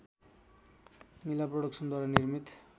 मिला प्रोडक्सनद्वारा निर्मित